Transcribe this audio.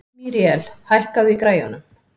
Míríel, hækkaðu í græjunum.